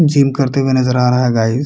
Gym करते हुए नजर आ रहे है गाइज ।